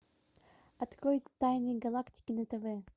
открой тайны галактики на тв